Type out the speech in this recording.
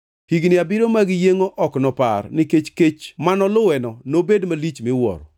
Higni abiriyo mag yiengʼo ok nopar, nikech kech mano luweno nobed malich miwuoro.